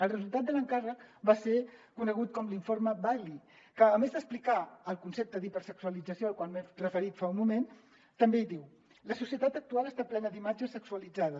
el resultat de l’encàrrec va ser conegut com l’informe bailey que a més d’expli·car el concepte d’hipersexualització al qual m’he referit fa un moment també diu la societat actual està plena d’imatges sexualitzades